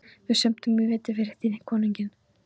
Við sömdum í vetur við herra þinn konunginn.